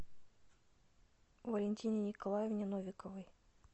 валентине николаевне новиковой